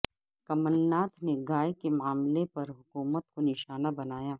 کمل ناتھ نے گائے کے معاملہ پر حکومت کو نشانہ بنایا